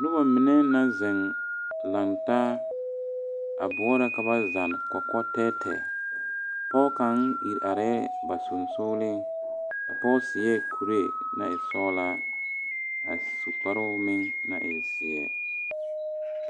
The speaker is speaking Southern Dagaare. Noba mine naŋ koŋ taa bore ka ba zenne kɔkɔɛ tɛɛtɛɛ pɔge kaŋa ire are ba sonsoŋle sogo a pɔge su kuri naŋ e soɔŋ a su kpaare naŋ e zeɛ.